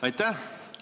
Aitäh!